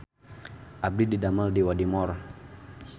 Abdi didamel di Wadimor